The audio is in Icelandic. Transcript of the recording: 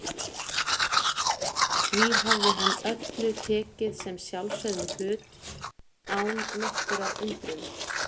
Því hafði hann öllu tekið sem sjálfsögðum hlut, án nokkurrar undrunar.